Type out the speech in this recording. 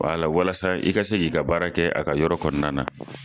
walasa i ka se k'i ka baara kɛ a ka yɔrɔ kɔnɔna na.